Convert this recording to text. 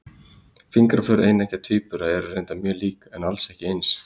Fingraför eineggja tvíbura eru reyndar mjög lík, en alls ekki eins.